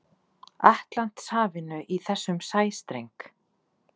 Atlantshafinu í þessum sæstreng.